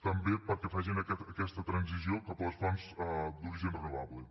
també perquè facin aquesta transició cap a les fonts d’origen renovable